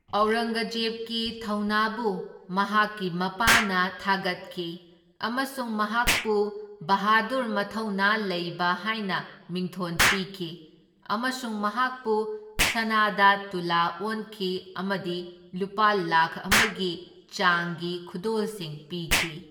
ꯑꯧꯔꯪꯒꯖꯦꯕꯀꯤ ꯊꯧꯅꯥꯕꯨ ꯃꯍꯥꯛꯀꯤ ꯃꯄꯥꯅ ꯊꯥꯒꯠꯈꯤ ꯑꯃꯁꯨꯡ ꯃꯍꯥꯛꯄꯨ ꯕꯍꯥꯗꯨꯔ ꯃꯊꯧꯅꯥ ꯂꯩꯕ ꯍꯥꯢꯅ ꯃꯤꯡꯊꯣꯟ ꯄꯤꯈꯤ ꯑꯃꯁꯨꯡ ꯃꯍꯥꯛꯄꯨ ꯁꯅꯥꯗ ꯇꯨꯂꯥ ꯑꯣꯟꯈꯤ ꯑꯃꯗꯤ ꯂꯨꯄꯥ ꯂꯥꯛꯈ ꯑꯃꯒꯤ ꯆꯥꯡꯒꯤ ꯈꯨꯗꯣꯜꯁꯤꯡ ꯄꯤꯈꯤ꯫